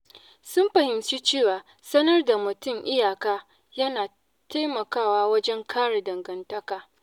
Sun fahimci cewa sanar da mutum iyaka yana taimakawa wajen kare dangantaka.